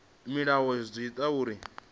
mulayo zwi ḓo ita uri